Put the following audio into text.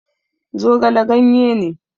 Zogale ganye ne